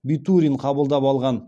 битурин қабылдап алған